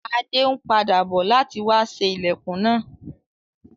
Adé n padà bo láti wa sé ilẹ́kùn náà